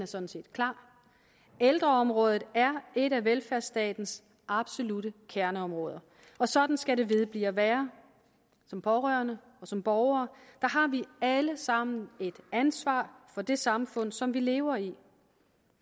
sådan set klar ældreområdet er et af velfærdsstatens absolutte kerneområder og sådan skal det vedblive at være som pårørende og som borgere har vi alle sammen et ansvar for det samfund som vi lever i